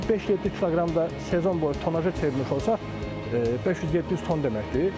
Bu 5-7 kiloqram da sezon boyu tonaja çevrilmiş olsa, 500-700 ton deməkdir.